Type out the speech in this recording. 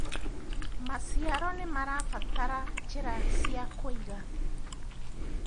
maciaro nĩmarabatara njira cia kuiga